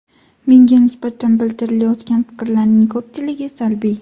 Menga nisbatan bildirilayotgan fikrlarning ko‘pchiligi salbiy.